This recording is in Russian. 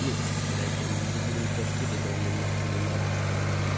ну блять я не буду нихуя скидывать оно мне нахуй не надо